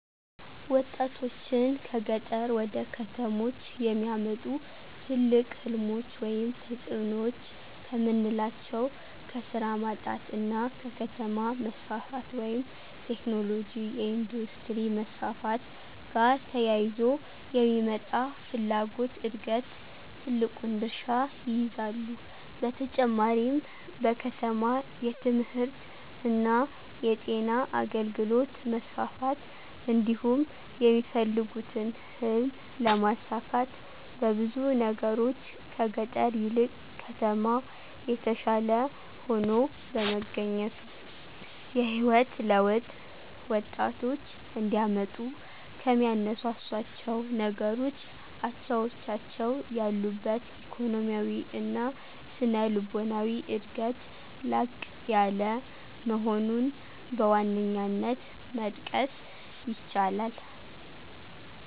ወጣቶችን ከገጠር ወደ ከተሞች የሚያመጡ ትልቅ ሕልሞች ወይም ተጽዕኖዎች ከምናላቸው ከስራ ማጣት እና ከከተማ መስፋፋት (ቴክኖሎጅ፣ የኢንዱስትሪ መስፋፋት )ጋር ተያይዞ የሚመጣ የፍላጎት ዕድገት ትልቁን ድርሻ ይይዛሉ። በተጨማሪም በከተማ የትምህርትእና የጤና አገልግሎት መስፋፋት እንዲሁም የሚፈልጉትን ህልም ለማሳካት በብዙ ነገሮች ከገጠር ይልቅ ከተማ የተሻለ ሆኖ በመገኘቱ። የህይወት ለውጥ ወጣቶች እንዲያመጡ ከሚያነሳሷቸው ነገሮች አቻዎቻቸው ያሉበት ኢኮኖሚያዊ እና ስነልቦናዊ ዕድገት ላቅ ያለ መሆኑን በዋነኛነት መጥቀስ ይቻላል።